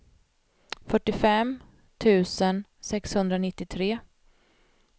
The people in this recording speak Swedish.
fyrtiofem tusen sexhundranittiotre